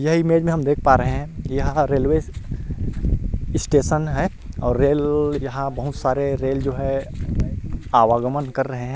यह इमेज में हम देख पा रहे हैं यह रेलवे स्टेशन है और रेल यहां बहुत सारे रेल जो है आवागमन कर रहे हैं।